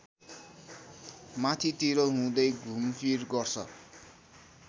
माथितिर हुँदै घुमफिर गर्छ